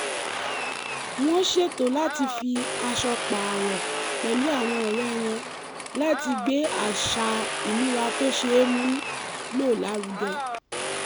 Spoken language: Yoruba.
wọ́n ṣètò láti fi aṣọ pààrọ̀ pẹ̀lú àwọn ọ̀rẹ́ wọn láti gbé àṣà ìmúra tó ṣeé mú lò lárugẹ